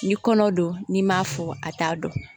Ni kɔnɔ don n'i m'a fɔ a t'a dɔn